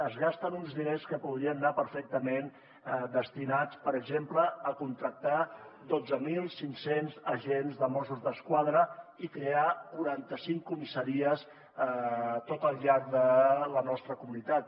es gasten uns diners que podrien anar perfectament destinats per exemple a contractar dotze mil cinc cents agents de mossos d’esquadra i crear quaranta cinc comissaries tot al llarg de la nostra comunitat